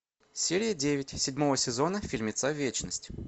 серия девять седьмого сезона фильмеца вечность